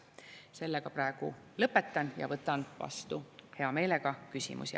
Sellega praegu lõpetan ja võtan hea meelega vastu küsimusi.